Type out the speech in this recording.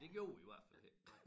Det gjorde vi i hvert fald ikke